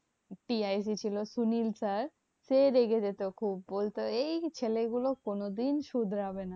ছিল সুনীল sir সে রেগে যেত খুব বলতো এই ছেলেগুলো কোনোদিন শুধরাবে না।